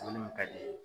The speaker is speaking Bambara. ka di ye